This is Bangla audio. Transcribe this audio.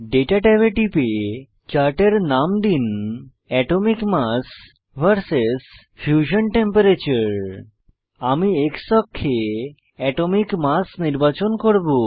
দাতা ট্যাবে গিয়ে চার্টের নাম দিন atomic mass vs fusion temperature আমি X অক্ষে অ্যাটমিক মাস পারমাণবিক ভর নির্বাচন করব